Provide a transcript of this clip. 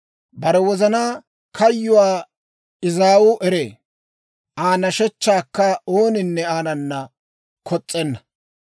Bare wozanaa kayyuwaa izaawu eree; Aa nashechchaakka ooninne aanana kos's'enna.